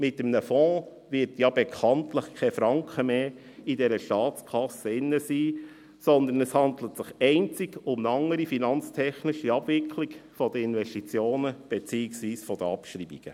Mit einem Fonds wird bekanntlich kein Franken mehr in der Staatskasse sein, sondern es handelt sich einzig um eine andere finanztechnische Abwicklung dieser Investitionen, beziehungsweise deren Abschreibungen.